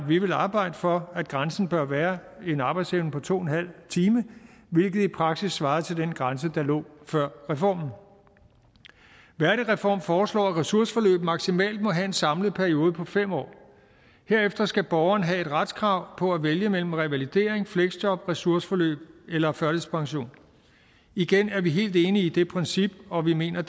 vi vil arbejde for at grænsen bør være en arbejdsevne på to en halv time hvilket i praksis svarer til den grænse der lå før reformen værdigreform foreslår at ressourceforløb maksimalt må have en samlet periode på fem år herefter skal borgeren have et retskrav på at vælge mellem revalidering fleksjob ressourceforløb eller førtidspension igen er vi helt enige i det princip og vi mener